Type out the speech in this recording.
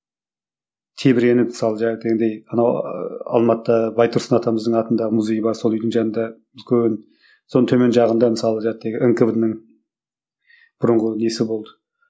тебіреніп мысалы анау ыыы алматыда байтұрсын атамыздың атында музей бар сол үйдің жанында үлкен соның төмен жағында мысалы нквд ның бұрынғы несі болды